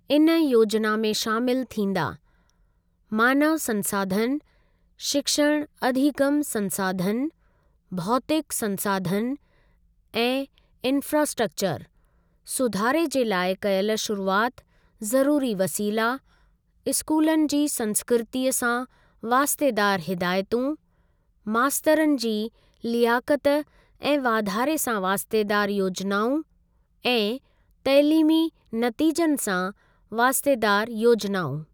इन योजना में शामिल थींदा, मानव संसाधन, शिक्षण अधिगम संसाधन, भौतिक संसाधन ऐं इंफ्रास्ट्रक्चर, सुधारे जे लाइ कयलि शुरूआति, ज़रूरी वसीला, स्कूलनि जी संस्कृतीअ सां वास्तेदार हिदायतूं, मास्तरनि जी लियाकत ऐं वाधारे सां वास्तेदार योजनाऊं ऐं तइलीमी नतीजनि सां वास्तेदार योजनाऊं।